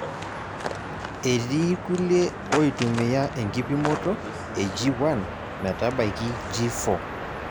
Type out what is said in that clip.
Etii kulie oitumiya enkipimoto e G1 metabaiki G4.